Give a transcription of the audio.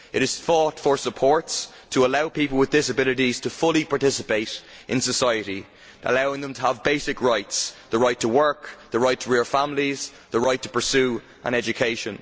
It has fought for supports to allow people with disabilities to fully participate in society, allowing them to have basic rights the right to work, the right to rear families, the right to pursue an education.